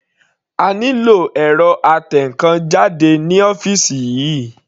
A nílò ẹ̀rọ atẹnkan jáde ní ọ́fìsì yìí.